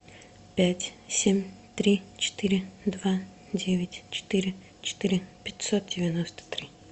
пять семь три четыре два девять четыре четыре пятьсот девяносто три